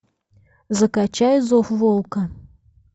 закачай зов волка